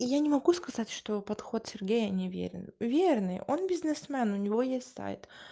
и я не могу сказать что подход сергея не верен верный он бизнесмен у него есть сайт